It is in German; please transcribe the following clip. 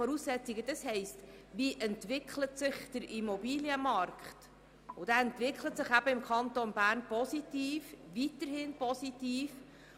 Dabei geht es um die Entwicklung des Immobilienmarkts, und dieser entwickelt sich im Kanton Bern weiterhin positiv.